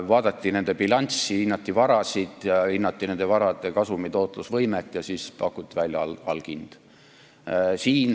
Vaadati nende bilanssi, hinnati nende varasid ja nende varade kasumitootlusvõimet ja siis pakuti välja alghind.